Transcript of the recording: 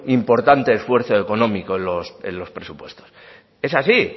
importante esfuerzo económico en los presupuestos es así